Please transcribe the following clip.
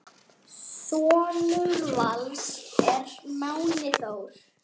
Sonur Vals er Máni Þór.